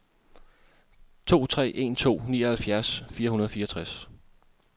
to tre en to nioghalvfjerds fire hundrede og fireogtres